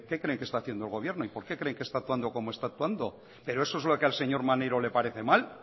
creen que está haciendo el gobierno y por qué creen que está actuando como está actuando pero eso es lo que al señor maneiro le parece mal